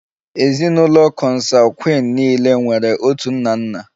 Ezinụlọ Kọnsangwin niile nwere otu nna nna